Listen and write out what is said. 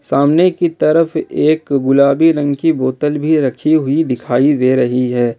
सामने की तरफ एक गुलाबी रंग की बोतल भी रखी हुई दिखाई दे रही है।